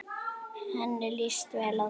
Henni líst vel á þig.